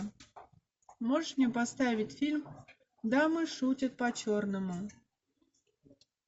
можешь мне поставить фильм дамы шутят по черному